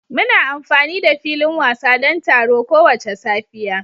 Muna amfani da filin wasa don taro kowace safiya